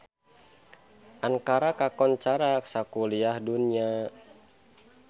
Ankara kakoncara sakuliah dunya